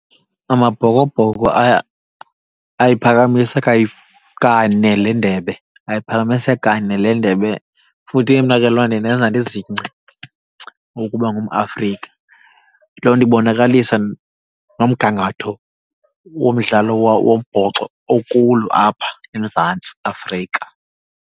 AmaBhokobhoko ayiphakamise kane le Ndebe, ayiphakamise kane le Ndebe. Futhi ke mna ke loo nto indenza ndizingce ukuba ngumAfrika. Loo nto ibonakalisa nomgangatho womdlalo wombhoxo okulo apha eMzantsi Afrika.